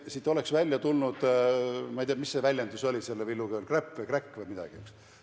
Siit oleks tulnud välja – ma ei tea, mis väljendus see Villu Kõvel oligi – kräpp või kräkk või midagi niisugust.